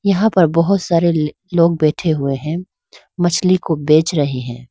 यहां पर बहोत सारे लोग बैठे हुए हैं मछली को बेच रहे हैं।